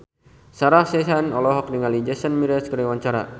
Sarah Sechan olohok ningali Jason Mraz keur diwawancara